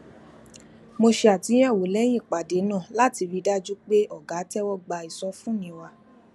mo ṣe àtúnyẹwò lẹyìn ìpàdé náà láti rí i dájú pé ọga tẹwọ gba ìsọfúnni wa